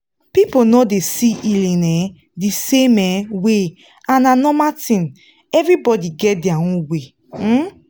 people no dey see healing um the same um way and na normal thin everybody get their own way. um